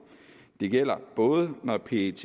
det gælder både når pet